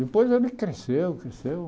Depois ele cresceu, cresceu.